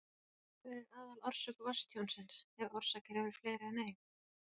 Hver er aðalorsök vatnstjónsins, ef orsakir eru fleiri en ein?